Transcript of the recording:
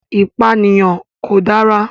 Ìpànìyàn kò dára.